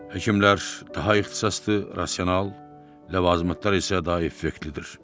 Həkimlər daha ixtisaslı, rasional, ləvazimatlar isə daha effektlidir.